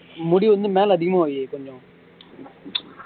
முடி வந்து மேல அதிகமா வை கொஞ்சம்